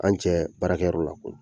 An cɛ baarakɛyɔrɔ la